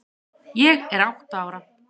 Ég er átta ára.